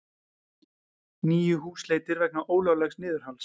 Níu húsleitir vegna ólöglegs niðurhals